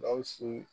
Gawusu